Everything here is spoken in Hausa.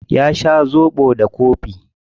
Ya sha zobo da kofi.